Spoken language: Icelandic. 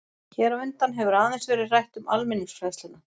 Hér á undan hefur aðeins verið rætt um almenningsfræðsluna.